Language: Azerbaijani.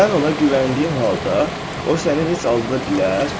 Sən ona güvəndiyin halda o səni heç aldada bilər?